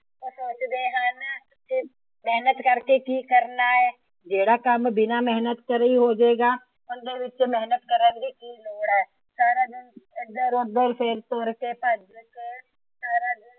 ਉਹ ਸੋਚਦੇ ਹਨ ਕਿ ਮੇਹਨਤ ਕਰਕੇ ਕੀ ਕਰਨਾ ਹੈ। ਜਿਹੜਾ ਕੰਮ ਬਿਨਾ ਮੇਹਨਤ ਕੀਤੇ ਹੋ ਜਾਏਗਾ। ਉਹਂਦੇ ਵਿੱਚ ਮੇਹਨਤ ਕਰਨ ਦੀ ਕਿ ਲੋੜ ਹੈ। ਸਾਰਾ ਦਿੰਨ ਏਧਰ ਉਧਰ ਤੁਰ ਫਿਰ ਕੇ